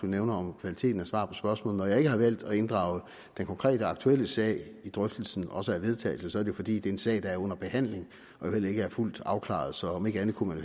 nævner om kvaliteten af svar på spørgsmålene når jeg ikke har valgt at inddrage den konkrete aktuelle sag i drøftelsen også af vedtagelsen så er det fordi det er en sag der er under behandling og jo heller ikke er fuldt afklaret så om ikke andet kunne man